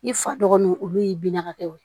I fa dɔgɔninw olu ye binɲagaw ye